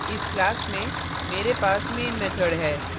इस class में मेरे पास main method है